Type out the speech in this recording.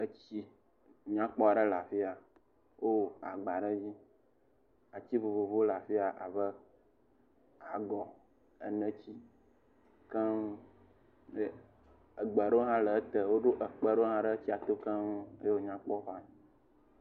Etsi nyakpɔ aɖe le afi ya. Wowɔ agba ɖe dzi. Ati vovovowo le afi ya abe agɔ, eneti keŋ, egbea ɖewo hã le ete, woɖo ekpe ɖewo hã le tsia to keŋ, ye wònyakpɔ…